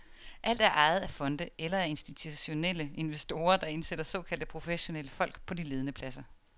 Alt er ejet af fonde eller af institutionelle investorer, der indsætter såkaldte professionelle folk på de ledende pladser.